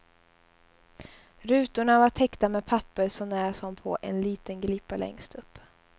Rutorna var täckta med papper så när som på en liten glipa längst upp.